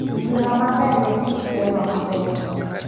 Ngima maber e kit telo maber.